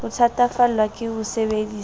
o thatafallwa ke ho sebedisa